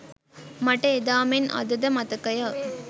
මට එදා මෙන් අද ද මතකය